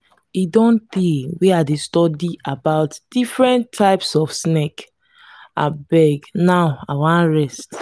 e don tey wey i dey study about different types of snake abeg now i wan rest